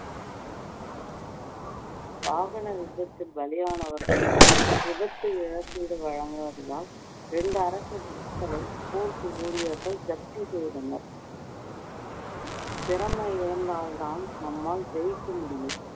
வாகன விபத்தில் பலியானவர்களுக்கு விபத்து இழப்பீடு வழங்குவதினால் ரெண்டு அரசு court ஊழியர்கள் ஜப்தி செய்தனர் திறமை இருந்தால் தான் நம்மால் ஜெயிக்க முடியும்